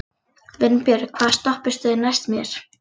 Vinbjörg, hvaða stoppistöð er næst mér?